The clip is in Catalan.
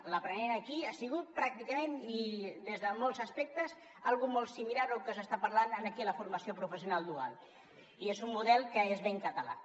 l’aprenent aquí ha sigut pràcticament i des de molts aspectes una cosa molt similar al que s’està parlant aquí en la formació professional dual i és un model que és ben català